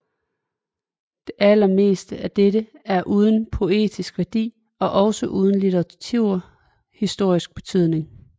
Det allermeste af dette er uden poetisk værdi og også uden litteraturhistorisk betydning